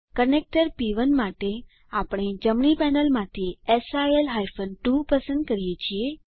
connector પ1 માટે આપણે જમણી પેનલમાંથી સિલ હાયફન 2 પસંદ કરીએ છીએ